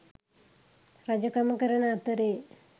රජකම කරන අතරේ